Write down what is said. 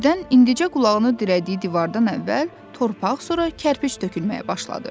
Birdən indicə qulağını dirədiyi divardan əvvəl torpaq, sonra kərpic tökülməyə başladı.